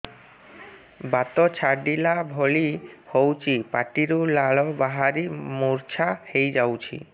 ବାତ ଛାଟିଲା ଭଳି ହଉଚି ପାଟିରୁ ଲାଳ ବାହାରି ମୁର୍ଚ୍ଛା ହେଇଯାଉଛି